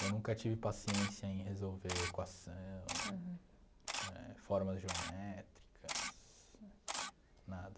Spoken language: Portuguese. Eu nunca tive paciência em resolver equação. Aham. Eh formas geométricas, nada.